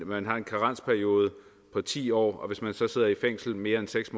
man har en karensperiode på ti år og hvis man så sidder i fængsel mere end seks